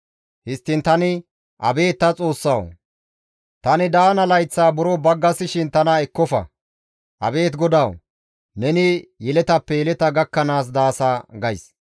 Histtiin tani, «Abeet ta Xoossawu! tani daana layththaa buro baggasishin ne tana ekkofa. Abeet GODAWU! Neni yeletappe yeleta gakkanaas daasa» gays.